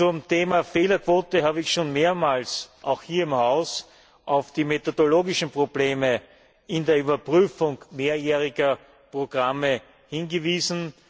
Beim Thema Fehlerquote habe ich schon mehrmals auch hier im Haus auf die methodologischen Probleme bei der Überprüfung mehrjähriger Programme hingewiesen.